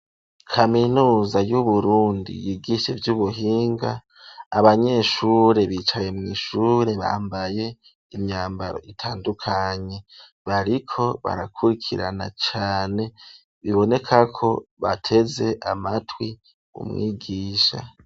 Kaminuza y'uburundi yigishe ivy'ubuhinga abanyeshure bicaye mw'ishure bambaye imyambaro itandukanye bariko barakurikirana cane biboneka ko bateze amatwi umwigisha.